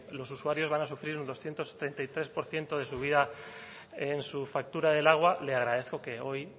los usuarios van a sufrir el doscientos treinta y tres por ciento de su vida en su factura del agua le agradezco que hoy